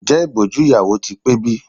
Ǹjẹ́ ìbòjú ìyàwó ti pé bí?